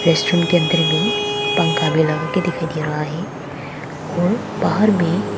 restaurant के अंदर में पंखा भी लगा के दिखाई दे रहा है और बाहर में--